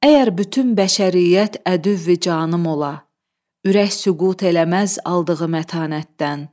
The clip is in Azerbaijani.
Əgər bütün bəşəriyyət ədüvvi canım ola, ürək süqut eləməz aldığı mətanətdən.